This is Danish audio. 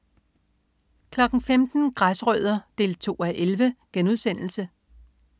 15.00 Græsrødder 2:11*